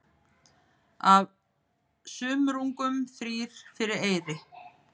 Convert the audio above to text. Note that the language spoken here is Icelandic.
Af sumrungum þrír fyrir eyri.